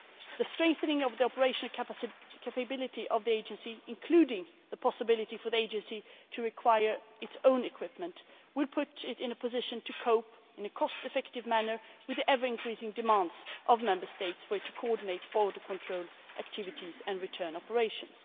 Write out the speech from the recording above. The strengthening of the operation and capability of the Agency, including the possibility for the Agency to acquire its own equipment, will put it in a position to cope in a cost effective manner with the ever increasing demands of Member States for it to coordinate border control activities and return operations.